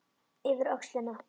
Yfir öxlina.